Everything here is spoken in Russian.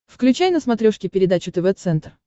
включай на смотрешке передачу тв центр